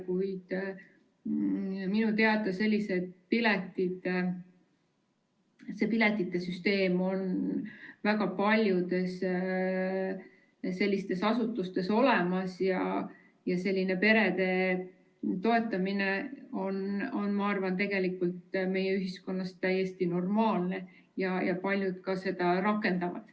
Kuid minu teada selline piletite süsteem on väga paljudes asutustes olemas ja perede toetamine, ma arvan, on meie ühiskonnas täiesti normaalne ja paljud seda ka rakendavad.